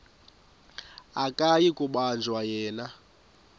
akuyi kubanjwa yena